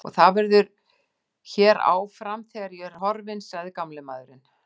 Og það verður hér áfram, þegar ég er horfinn sagði gamli maðurinn.